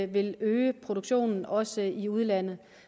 vil øge produktionen også i udlandet